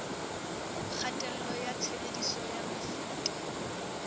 kgatello ya tshebediso ya mefuta